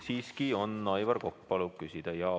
Siiski on, Aivar Kokk soovib küsida.